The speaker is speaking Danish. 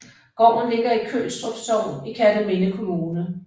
Gården ligger i Kølstrup Sogn i Kerteminde Kommune